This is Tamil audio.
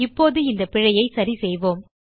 இப்போது இந்த பிழையை சரிசெய்வோம்